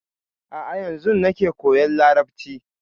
A'a yanzun nake koyan Larabci.